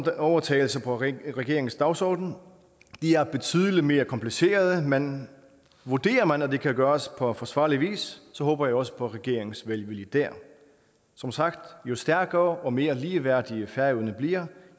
overtagelser på regeringens dagsorden de er betydelig mere komplicerede men vurderer man at det kan gøres på forsvarlig vis så håber jeg også på regeringens velvilje dér som sagt jo stærkere og mere ligeværdig færøerne bliver